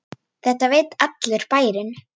Og þetta veit allur bærinn?